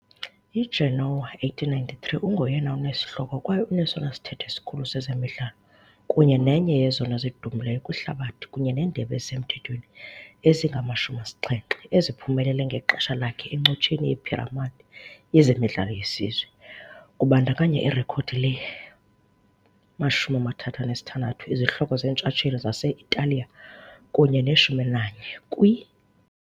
IGenoa 1893, ungoyena unesihloko kwaye unesona sithethe sikhulu sezemidlalo kunye nenye yezona zidumileyo kwihlabathi kunye neendebe ezisemthethweni ezingama-70 eziphumelele ngexesha lakhe encotsheni yephiramadi yezemidlalo yesizwe, kubandakanya irekhodi le-36 izihloko zeentshatsheli zase-Italiya kunye ne-11 kwi.